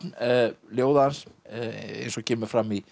ljóða hans eins og kemur fram í